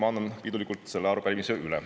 Ma annan pidulikult selle arupärimise üle.